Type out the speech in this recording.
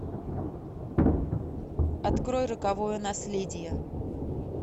открой роковое наследие